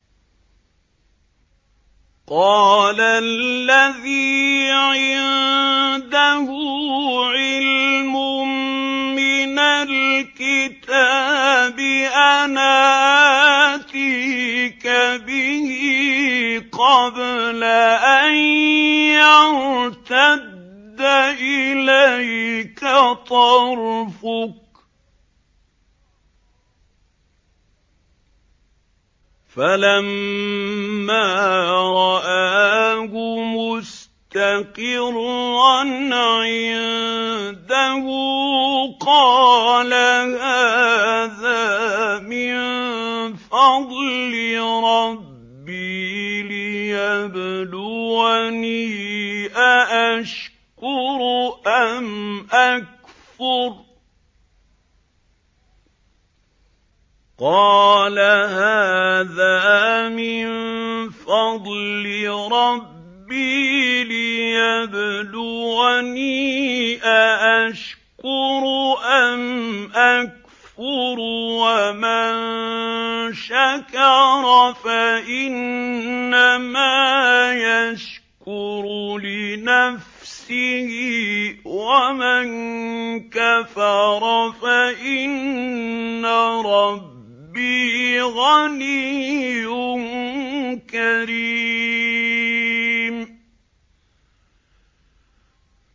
قَالَ الَّذِي عِندَهُ عِلْمٌ مِّنَ الْكِتَابِ أَنَا آتِيكَ بِهِ قَبْلَ أَن يَرْتَدَّ إِلَيْكَ طَرْفُكَ ۚ فَلَمَّا رَآهُ مُسْتَقِرًّا عِندَهُ قَالَ هَٰذَا مِن فَضْلِ رَبِّي لِيَبْلُوَنِي أَأَشْكُرُ أَمْ أَكْفُرُ ۖ وَمَن شَكَرَ فَإِنَّمَا يَشْكُرُ لِنَفْسِهِ ۖ وَمَن كَفَرَ فَإِنَّ رَبِّي غَنِيٌّ كَرِيمٌ